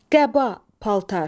Qəba, paltar.